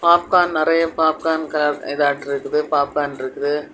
Popcorn நிறைய popcorn க இதாற்றுக்குது பாப்கார்ன் இருக்குது.